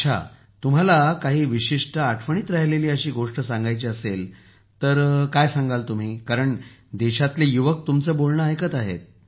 अच्छा तुम्हाला काही विशिष्ट आठवणीत राहिलेली गोष्ट सांगायची असेल तर काय सांगाल देशातील युवक तुमचे बोलणे ऐकत आहेत